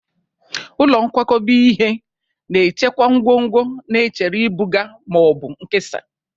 Ụlọ nkwakọba ihe na-echekwa ngwongwo na-echere ibuga ma ọ bụ nkesa.